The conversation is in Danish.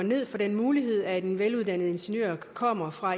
for den mulighed at en veluddannet ingeniør der kommer fra